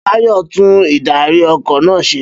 Bayo ń tún ìdarí- ọkọ̀ náà ṣe.